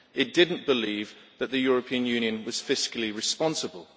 It did not believe that the European Union was fiscally responsible.